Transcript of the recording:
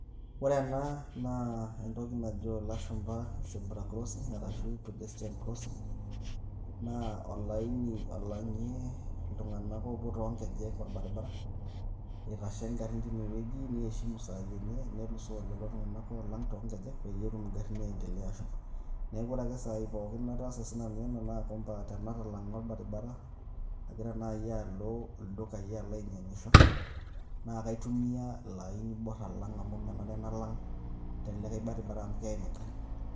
Ore ena naa entoki najo ilashumba zebra crossing arashu pedestrian crossing naa olaini olang'ie iltung'anak oopuo toonkejek orbaribara, itashe ingarrin tinewueji nieshimu isaai enye nelusoo lelo tung'anak oolang' toong'ejek peyie etum ingarrin aiendelea ashom. Neeku ore ake isaai pookin nataasa sinanu ena naa kwamba tenatalang'a orbaribara agira naai alo ildukaai alo ainy'iang'isho naa akaitumia ilo aini oiborr alang' amu menare nalang' te likai baribara amu keeim ingarrin.